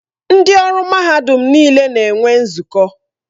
Ndị ọrụ mahadum niile na-enwe nzukọ.